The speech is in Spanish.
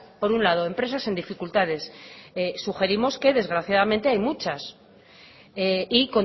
por un lado empresas en dificultades sugerimos que desgraciadamente hay muchas y